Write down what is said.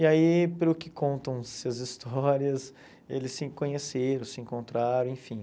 E aí, pelo que contam essas histórias, eles se conheceram, se encontraram, enfim.